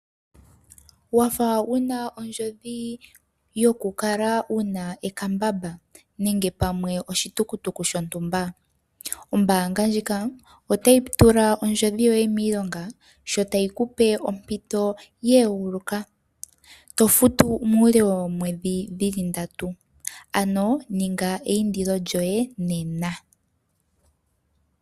Wa fa wu na oondjodhi yokukala wu na ekambamba nenge pamwe oshitukutuku shontumba, ombanga ndjika otayi tula oondjodhi yoye miilonga sho tayi ku pe ompito ye eguluka yokufuta omwedhi ndatu ano ninga eyindilo lyoye nena.